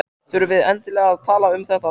Þurfum við endilega að tala um þetta núna?